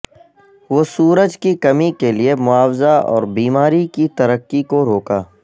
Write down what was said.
وہ سورج کی کمی کے لئے معاوضہ اور بیماری کی ترقی کو روکا